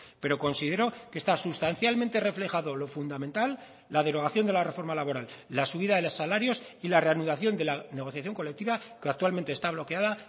pero considero que está sustancialmente reflejado lo fundamental la derogación de la reforma laboral la subida de los salarios y la reanudación de la negociación colectiva que actualmente está bloqueada